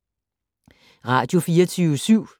Radio24syv